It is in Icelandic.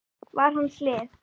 var hans lið.